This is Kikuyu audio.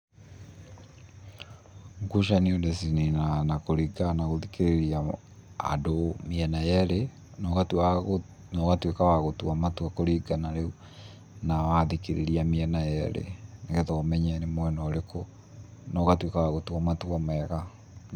Ngucanio ndĩcininaga na kũringana na gũthikĩrĩria andũ mĩena yerĩ, na ũgatua na ũgatuĩka wa gũtua matua kũringana rĩu, na wathikĩrĩria mĩena yerĩ, nĩgetha ũmenye nĩ mwena ũrĩkũ, na ũgatuĩka wa gũtua matua mega.